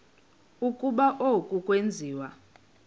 ukuba oku akwenziwa